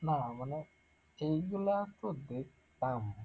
না মানে এইগুলা তো দেখতাম,